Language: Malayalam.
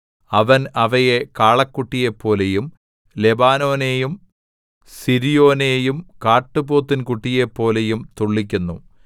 അവൻ അവയെ കാളക്കുട്ടിയെപ്പോലെയും ലെബാനോനെയും സിര്യോനെയും കാട്ടുപോത്തിൻ കുട്ടിയെപ്പോലെയും തുള്ളിക്കുന്നു